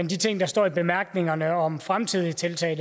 de ting der står i bemærkningerne om fremtidige tiltag